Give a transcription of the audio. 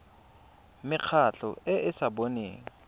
mekgatlho e e sa boneng